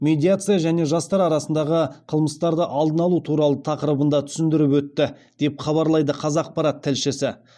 медиация және жастар арасындағы қылмыстарды алдын алу туралы тақырыбында түсіндіріп өтті деп хабарлайды қазақпарат тілшісі